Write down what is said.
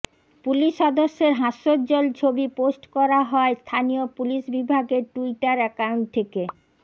police সদস্যের হাস্যোজ্বল ছবি পোস্ট করা হয় স্থানীয় পুলিশ বিভাগের টুইটার অ্যাকাউন্ট থেকে